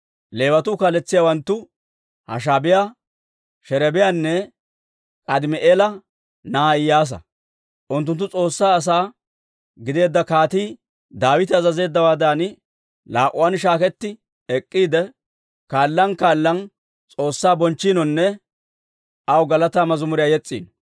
Leewatuwaa kaaletsiyaawanttu Hashaabiyaa, Sherebiyaanne K'aadimi'eela na'aa Iyyaasa. Unttunttu S'oossaa asaa gideedda Kaatii Daawite azazeeddawaadan, laa"uwaan shaaketti ek'k'iide, kaalan kaalan S'oossaa bonchchiinonne aw galataa mazimuriyaa yes's'iino.